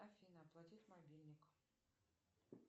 афина оплатить мобильник